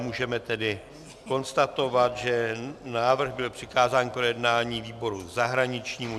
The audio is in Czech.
Můžeme tedy konstatovat, že návrh byl přikázán k projednání výboru zahraničnímu.